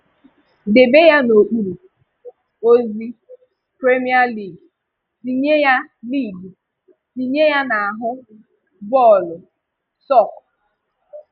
Debe ya n'okpuru: ozi, premier league. Tinye ya league. Tinye ya n'aha :bọọlụ, sook.